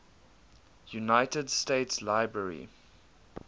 united states library